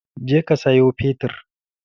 Je ka sayo fetur!